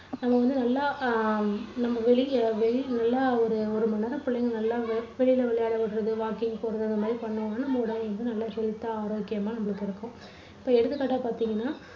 அங்க வந்து நல்லா அஹ் நம்ம வெளியில, வெளியில நல்லா ஒரு மணி நேரம் புள்ளைங்க நல்லா வெளியில விளையாட விடுறது, walking போறது அந்த மாதிரி பண்ணினோம்னா நம்ம உடல் வந்து நல்லா health தா ஆரோக்கியமா நம்மளுக்கு இருக்கும். இப்போ எடுத்துக்காட்டா பார்த்தீங்கன்னா